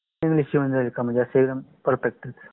English येउन जाईल का. म्हणजे perfect